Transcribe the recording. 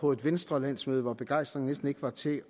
på et venstrelandsmøde hvor begejstringen næsten ikke var til